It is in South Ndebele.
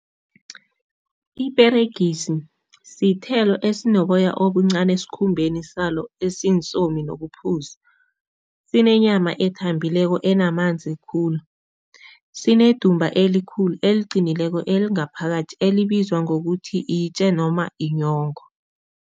Iperegisi sithelo esinoboya obuncani esikhumbeni salo nobuphuzi. Sinenyama ethambileko enamanzi khulu. Sinedumba elikhulu, eliqinileko, elingaphakathi elibizwa ngokuthi itje noma inyongo.